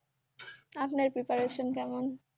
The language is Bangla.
আপনার preparation কেমন?